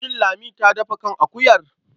Shin Lami ta dafa kan akuyar?